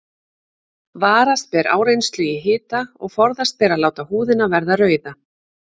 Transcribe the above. Varast ber áreynslu í hita og forðast ber að láta húðina verða rauða.